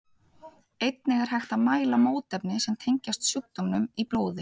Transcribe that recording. Einnig er hægt að mæla mótefni sem tengjast sjúkdómnum í blóði.